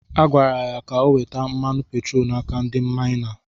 Agwara ya ka o weta mmanụ petroolu n’aka ndị maịna.